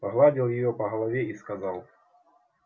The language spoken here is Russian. погладил её по голове и сказал